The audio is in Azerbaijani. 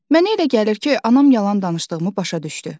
Mənə elə gəlir ki, anam yalan danışdığımı başa düşdü.